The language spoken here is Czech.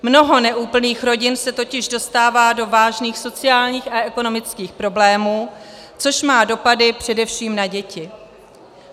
Mnoho neúplných rodin se totiž dostává do vážných sociálních a ekonomických problémů, což má dopady především na děti.